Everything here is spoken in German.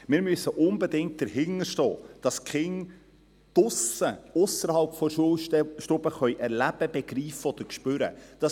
Wir müssen unbedingt dahinter stehen, dass die Kinder draussen, ausserhalb der Schulstube etwas erleben, begreifen oder spüren können.